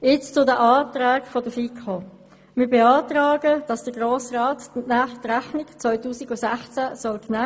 Zu den Anträgen der FiKo: Wir beantragen, dass der Grosse Rat die Rechnung 2016 genehmigt.